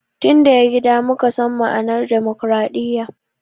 Tin daya gida muka san ma'anan dimokradiya